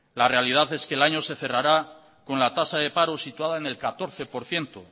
la realidad es que el año se cerrará con la tasa de paro situada en el catorce por ciento